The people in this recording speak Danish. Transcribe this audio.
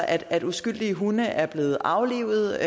at uskyldige hunde er blevet aflivet